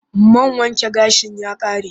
Man wanke gashin ya ƙare